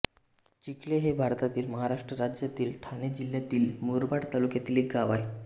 चिखले हे भारतातील महाराष्ट्र राज्यातील ठाणे जिल्ह्यातील मुरबाड तालुक्यातील एक गाव आहे